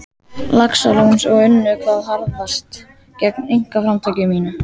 Laxalóns og unnu hvað harðast gegn einkaframtaki mínu.